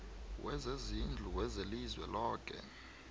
wezezindlu welizwe loke